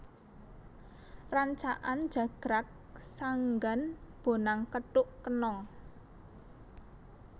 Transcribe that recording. Rancakan jagrag sanggan bonang kethuk kenong